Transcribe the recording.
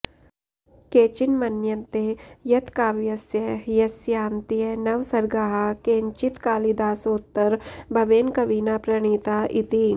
केचिन्मन्यन्ते यत् काव्यस्य ह्यस्यान्त्यनवसर्गाः केनचित्कालिदासोत्तरभवेन कविना प्रणीता इति